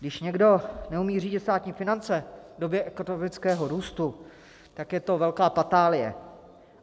Když někdo neumí řídit státní finance v době ekonomického růstu, tak je to velká patálie.